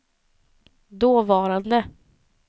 dåvarande